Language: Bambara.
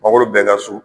Mangoro bɛɛ ka so